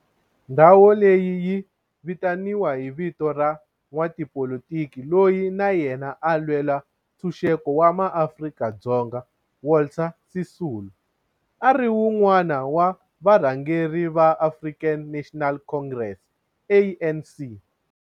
Ndhawo leyi yi vitaniwa hi vito ra n'watipolitiki loyi na yena a lwela ntshuxeko wa maAfrika-Dzonga Walter Sisulu, a ri wun'wana wa varhangeri va African National Congress, ANC.